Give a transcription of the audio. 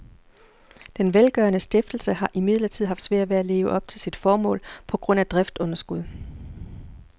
Den velgørende stiftelse har imidlertid haft svært ved at leve op til sit formål på grund af driftsunderskud.